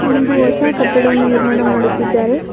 ಒಂದು ಹೊಸ ಕಟ್ಟಡವನ್ನು ನಿರ್ಮಾಣ ಮಾಡುತ್ತಿದ್ದಾರೆ.